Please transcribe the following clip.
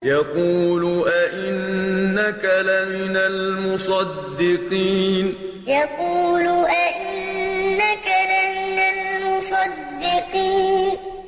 يَقُولُ أَإِنَّكَ لَمِنَ الْمُصَدِّقِينَ يَقُولُ أَإِنَّكَ لَمِنَ الْمُصَدِّقِينَ